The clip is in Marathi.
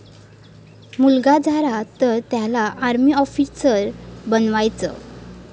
मुलगा झाला तर त्याला आर्मी आॅफिसर बनवायचं'